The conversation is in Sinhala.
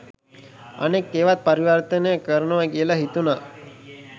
අනෙක් ඒවත් පරිවර්තනය කරනව කියල හිතුන.